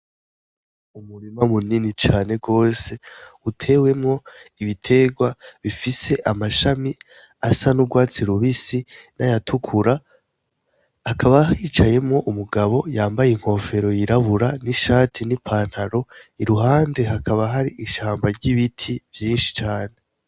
Umurima munini cane gose utewemwo ibiterwa bifise amashami asa n’urwatsi rubisi n’ayatukura hakaba hicayemwo Umugabo yambaye inkofero yirabura , n’ishati ni pantaro iruhande hakaba hari ishamba ry’ibiti vyinshi cane .